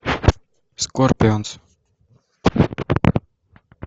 скорпионс